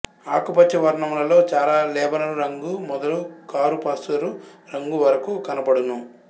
ఆకుపచ్చ వర్ణములలో చాలా లేబనరు రంగు మొదలు కారుపసరు రంగు వరకు కన్పడును